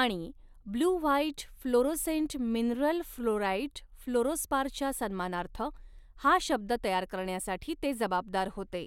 आणि blue white fluorescent mineral fluorite फ्लोरोस्पारच्या सन्मानार्थ, हा शब्द तयार करण्यासाठी ते जबाबदार होते.